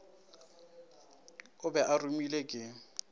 o be a romilwe ke